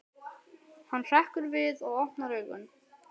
Hann hrekkur við og opnar augun.